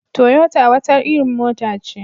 Toyota wata irin mota ce.